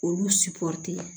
Olu